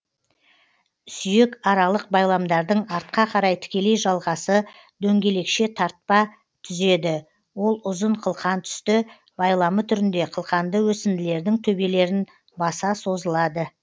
сүйекаралық байламдардың артқа қарай тікелей жалғасы дөңгелекше тартпа түзеді ол ұзын қылқантүсті байламы түрінде қылқанды өсінділердің төбелерін баса созылады